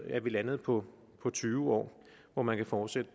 at vi landede på tyve år hvor man kan fortsætte